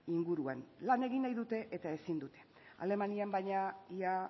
inguruan lan egin nahi dute eta ezin dute alemanian baina ia